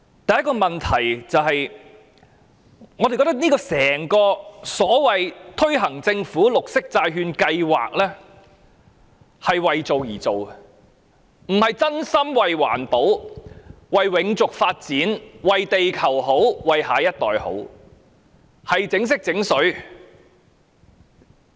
第一個問題是，我們認為整項所謂政府綠色債券計劃是為做而做的，而不是真心為環保、為永續發展、為地球好、為下一代好，只是"整色整水"。